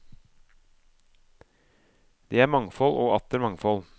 Det er mangfold og atter mangfold.